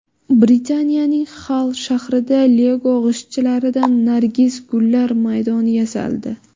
Britaniyaning Xall shahrida Lego g‘ishtchalaridan nargis gullar maydoni yasaldi.